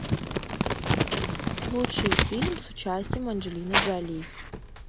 лучший фильм с участием анджелины джоли